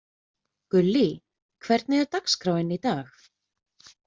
Gullý, hvernig er dagskráin í dag?